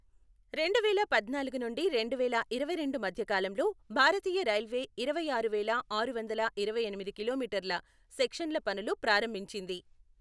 రెండువేల పద్నాలుగు నుండి రెండువేల ఇరవైరెండు మధ్య కాలంలో భారతీయ రైల్వే ఇరవైఆరు వేళా ఆరువందల ఇరవై ఎనిమిది కిలోమీటర్ల సెక్షన్ల పనులు ప్రారంభించింది.